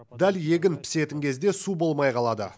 дәл егін пісетін кезде су болмай қалады